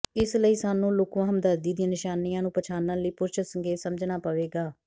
ਇਸ ਲਈ ਸਾਨੂੰ ਲੁਕਵਾਂ ਹਮਦਰਦੀ ਦੀਆਂ ਨਿਸ਼ਾਨੀਆਂ ਨੂੰ ਪਛਾਣਨ ਲਈ ਪੁਰਸ਼ ਸੰਕੇਤ ਸਮਝਣਾ ਪਵੇਗਾ